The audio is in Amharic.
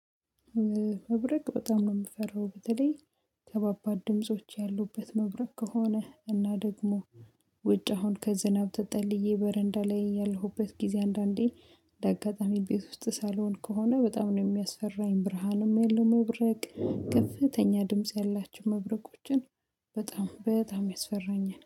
መብረቅ በጣም ነው የምፈራው። በተለይ ከባድ ድምጾች ያሉበት መብረቅ ከሆነ እና ደግሞ ውጭ አሁን ከዝናብ ተጠልዬ በረንዳ ላይ ያለሁበት ጊዜ። አንዳንዴ መብረቅ በጣም ነው የምፈራው በተለይ ከበባድ ድምጾች ያሉበት መብረቅ ከሆነ። እና ደግሞ ውጭ አሁን ከዝናብ ተጠልዬ በረንዳ ላይ ያለሁበት ጊዜ አንዳንዴ